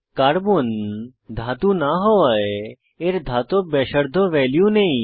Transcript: carbon ধাতু না হওযায় এর ধাতব ব্যাসার্ধ ভ্যালু নেই